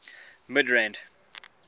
midrand